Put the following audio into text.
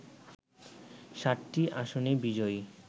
৭টি আসনেই বিজয়ী